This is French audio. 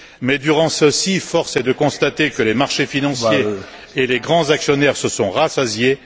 Mais durant celle ci, force est de constater que les marchés financiers et les grands actionnaires se sont rassasiés.